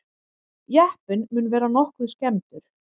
Jeppinn mun vera nokkuð skemmdur